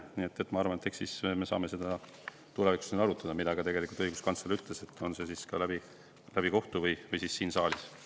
Nii et ma arvan, et eks me saame seda tulevikus arutada, nagu ka õiguskantsler ütles, et kas lahendus tuleb kohtu kaudu või siit saalist.